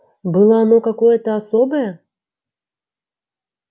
было оно какое-то особое